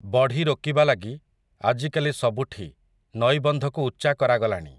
ବଢ଼ି ରୋକିବା ଲାଗି, ଆଜିକାଲି ସବୁଠି, ନଈବନ୍ଧକୁ ଉଚ୍ଚା କରାଗଲାଣି ।